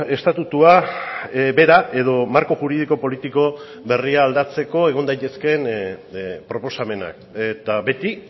estatutua bera edo marko juridiko politiko berria aldatzeko egon daitezkeen proposamenak eta beti